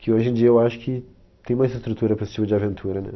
Que hoje em dia eu acho que tem mais estrutura para esse tipo de aventura, né?